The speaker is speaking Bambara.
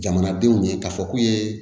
Jamanadenw ye k'a fɔ k'u ye